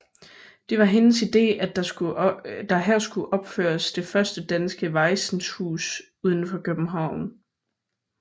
Det var hendes ide at der her skulle opføres det første danske vajsenhus uden for København